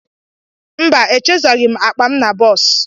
Mba, echezọghị m akpa m na bọs.